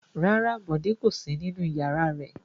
Rárá, Bọ̀dé kò sí nínú ìyàrá rẹ̀.